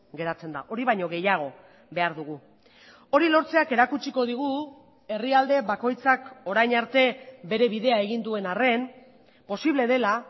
geratzen da hori baino gehiago behar dugu hori lortzeak erakutsiko digu herrialde bakoitzak orain arte bere bidea egin duen arren posible dela